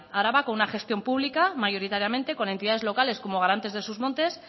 araba con una gestión pública mayoritariamente con entidades locales como garantes de sus montes